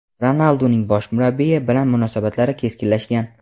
Ronalduning bosh murabbiy bilan munosabatlari keskinlashgan.